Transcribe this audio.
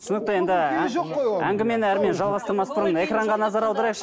түсінікті енді ыыы әңгімені әрмен жалғастырмас бұрын экранға назар аударайықшы